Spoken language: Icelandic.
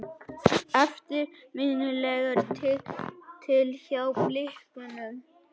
Eftirminnilegur titill hjá Blikunum.